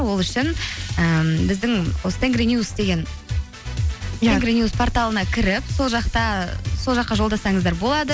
ол үшін ііі біздің осы тенгринюс порталына кіріп сол жаққа жолдасаңыздар болады